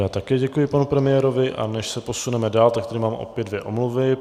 Já také děkuji panu premiérovi, a než se posuneme dál, tak tady dáme opět dvě omluvy.